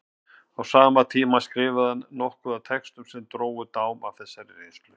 Á sama tíma skrifaði hann nokkuð af textum sem drógu dám af þessari reynslu.